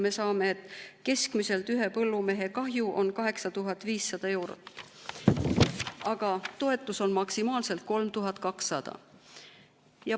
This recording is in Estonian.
Me saame, et ühe põllumehe kahju on keskmiselt 8500 eurot, aga toetus on maksimaalselt 3200.